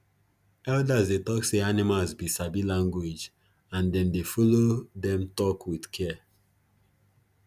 elders dey tok say animals be sabi language and them dey follow them talk with care